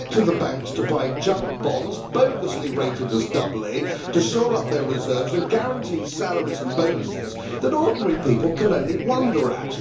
give it to the banks to buy junk bonds bogusly rated as double A to shore up their reserves and guarantee salaries and bonuses that ordinary people can only wonder at.